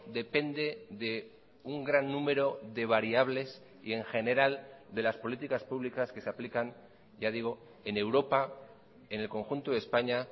depende de un gran número de variables y en general de las políticas públicas que se aplican ya digo en europa en el conjunto de españa